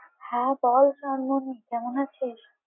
হ্যাঁ বল চনমনি। কেমন আছিস?